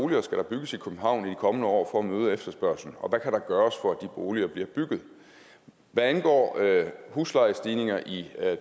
der skal bygges i københavn i de kommende år for at møde efterspørgslen og hvad der kan gøres for at de boliger bliver bygget hvad angår huslejestigninger i